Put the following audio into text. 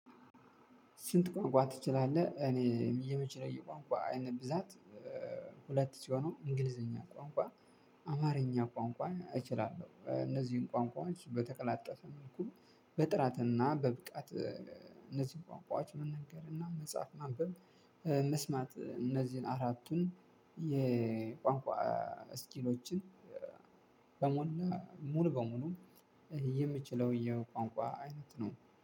ስንት ቋንቋ ትችላለህ እኔ የምችለው የቋንቋ አይነት ብዛት? ሁለት ሲሆኑ እንግሊዘኛ ቋንቋን። አማርኛ ቋንቋን እችላለው እነዚን ቋንቋዎች በተቀላጠፉ። በጥራት እና በብቃት እነዚን ቋንቋዎች መናገር እና መጻፍ ማንበብ። መስማት እነዚህን አራቱን የቋንቋ ስኪሎችን። በሙሉ ሙሉ በሙሉ የምችለው የቋንቋ አይነት ነው